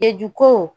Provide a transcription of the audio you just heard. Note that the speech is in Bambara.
Eju ko